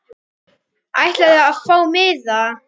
Ætlarðu að fá miða?